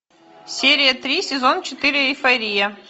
серия три сезон четыре эйфория